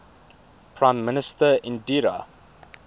prime minister indira